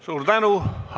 Suur tänu!